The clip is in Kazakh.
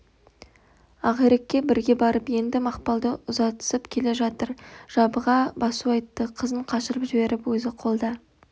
ақирекке бірге барып енді мақпалды ұзатысып келе жатыр жабыға басу айтты қызын қашырып жіберіп өзі қолда